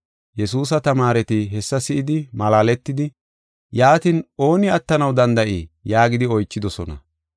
Yesuusa tamaareti hessa si7idi malaaletidi, “Yaatin, ooni attanaw danda7ii?” yaagidi oychidosona.